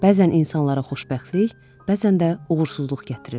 Bəzən insanlara xoşbəxtlik, bəzən də uğursuzluq gətirir.